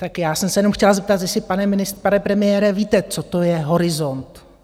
Tak já jsem se jenom chtěla zeptat, jestli, pane premiére, víte, co to je horizont.